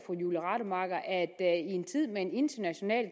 i en tid med international